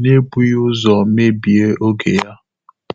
n’ébùghị́ ụ́zọ́ mébíé ògé yá.